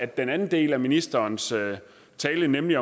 den anden del af ministerens tale nemlig